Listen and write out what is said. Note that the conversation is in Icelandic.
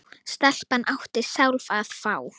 Stelpan átti sjálf að fá.